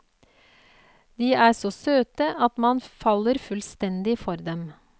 De er så søte at man faller fullstendig for dem.